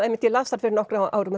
ég las þær fyrir nokkrum árum